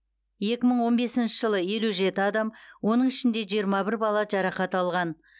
екі мың он бесінші жылы елу жеті адам оның ішінде жиырма бір бала жарақат алған